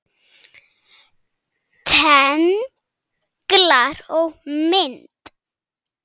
Tenglar og mynd